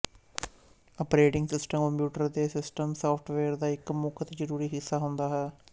operating system computer ਦੇ system software ਦਾ ਇੱਕ ਮੁੱਖ ਅਤੇ ਜ਼ਰੂਰੀ ਹਿੱਸਾ ਹੁੰਦਾ ਹੈ